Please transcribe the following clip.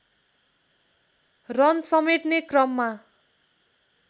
run समेट्ने क्रममा